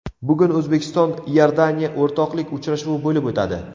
Bugun O‘zbekiston Iordaniya o‘rtoqlik uchrashuvi bo‘lib o‘tadi.